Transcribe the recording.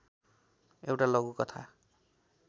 एउटा लघुकथा